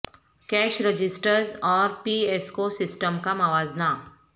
cash registers اور P S O system کا موازنہ